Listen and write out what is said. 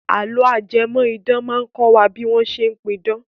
Àlọ́ ajẹmọ̀-idán máa kọ́ wa bí wọ́n ṣe pidán.